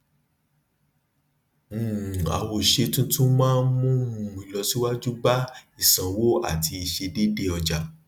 um àwòṣe tuntun náà mú um ìlọsíwájú bá isanwó àti ìṣiṣẹ deede ọja